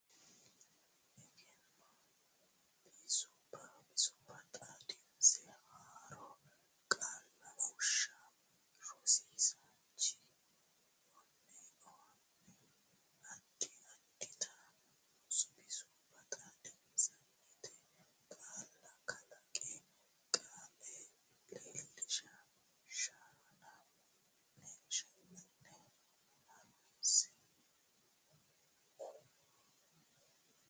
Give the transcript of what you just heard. Egenno Bisubba Xaadinse Haaroo Qaalla Fushsha Rosiisaanchi o ne addi addita bisubba xaadisatenni qaalla kalaqe qqe leellisha shanna ne ha runse.